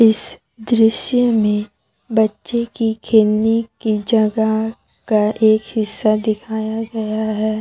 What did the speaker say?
इस दृश्य में बच्चे की खेलने के जगह का एक हिस्सा दिखाया गया है।